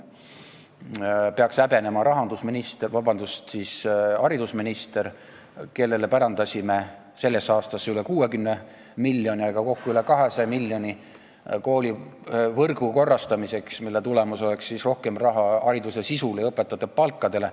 Seda peaks häbenema haridusminister, kellele sellesse aastasse pärandasime üle 60 miljoni, aga kokku üle 200 miljoni koolivõrgu korrastamiseks, mille tulemus peaks olema rohkem raha hariduse sisule ja õpetajate palkadele.